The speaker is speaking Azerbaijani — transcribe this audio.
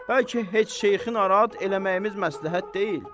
Bəlkə heç şeyxi narahat eləməyimiz məsləhət deyil.